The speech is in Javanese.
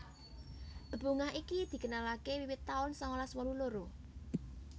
Bebungah iki dikenalaké wiwit taun sangalas wolu loro